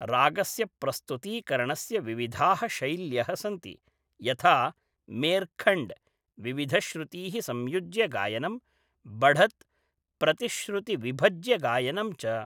रागस्य प्रस्तुतीकरणस्य विविधाः शैल्यः सन्ति, यथा मेर्खण्ड् विविधश्रुतीः संयोज्य गायनं, बढत् प्रतिश्रुति विभज्य गायनं च।